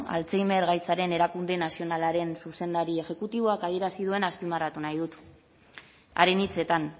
alzheimer gaitzaren erakunde nazionalaren zuzendari exekutiboak adierazi duena azpimarratu nahi dut haren hitzetan